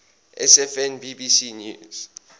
sfn bbc news